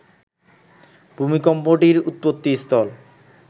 ভূমিকম্পটির উৎপত্তিস্থল